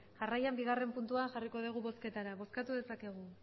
jarraian bigarrena puntua jarriko dugu bozketara bozkatu dezakegu